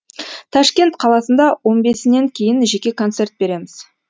ташкент қаласында он бесінен кейін жеке концерт береміз